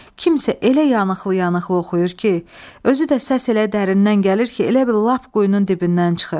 Kimsə elə yanıqlı-yanıqlı oxuyur ki, özü də səs elə dərindən gəlir ki, elə bil lap quyunun dibindən çıxır.